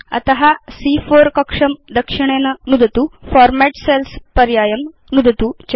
अत सी॰॰4 कक्षं दक्षिणेन नुदतु फॉर्मेट् सेल्स् पर्यायं नुदतु च